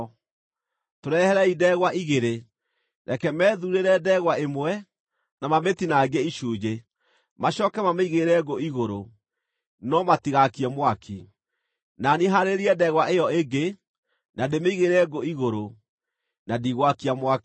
Tũreherei ndegwa igĩrĩ. Reke methuurĩre ndegwa ĩmwe, na mamĩtinangie icunjĩ, macooke mamĩigĩrĩre ngũ igũrũ, no matigaakie mwaki. Na niĩ haarĩrie ndegwa ĩyo ĩngĩ, na ndĩmĩigĩrĩre ngũ igũrũ, na ndigwakia mwaki.